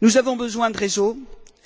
Nous avons besoin de réseaux,